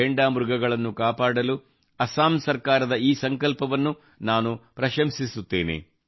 ಘೇಂಡಾ ಮೃಗಗಳನ್ನು ಕಾಪಾಡಲು ಅಸ್ಸಾಂ ಸರ್ಕಾರದ ಈ ಸಂಕಲ್ಪವನ್ನು ನಾನು ಪ್ರಶಂಸಿಸುತ್ತೇನೆ